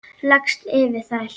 Leggst yfir þær.